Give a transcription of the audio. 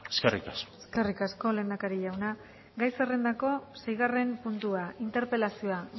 eskerrik asko eskerrik asko lehendakari jauna gai zerrendako seigarren puntua interpelazioa